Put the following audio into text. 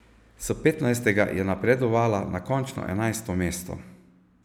S petnajstega je napredovala na končno enajsto mesto.